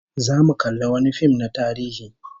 Zamu kalli wani fim na tarihi